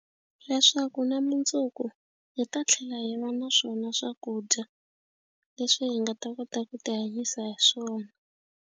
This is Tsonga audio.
Leswaku na mundzuku hi ta tlhela hi va na swona swakudya leswi hi nga ta kota ku tihanyisa hi swona.